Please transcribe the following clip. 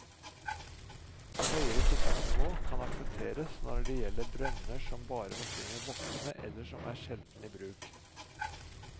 Høyere tiltaksnivå kan aksepteres når det gjelder brønner som bare forsyner voksne eller som er sjelden i bruk.